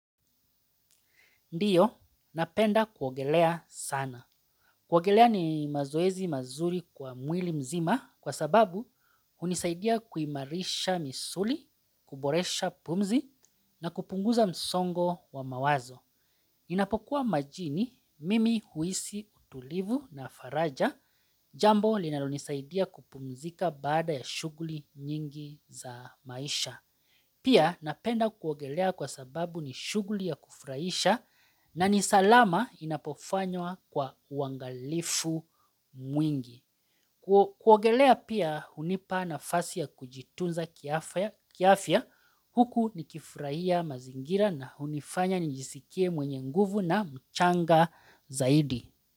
Ndiyo, napenda kuogelea sana. Kuogelea ni mazoezi mazuri kwa mwili mzima kwa sababu hunisaidia kuimarisha misuli, kuboresha pumzi na kupunguza msongo wa mawazo. Ninapokuwa majini, mimi huhisi utulivu na faraja jambo linalonisaidia kupumzika baada ya shughuli nyingi za maisha. Pia napenda kuogelea kwa sababu ni shughuli ya kufurahisha na ni salama inapofanywa kwa uangalifu mwingi. Kuogelea pia hunipa nafasi ya kujitunza kiafya huku nikifuhia mazingira na hunifanya nijisikie mwenye nguvu na mchanga zaidi.